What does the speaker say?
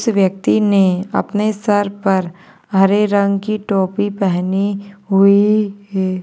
इस व्यक्ति ने अपने सर पर हरे रंगकी टोपी पेहनी हुई है।